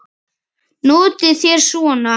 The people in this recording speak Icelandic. Notið þér svona?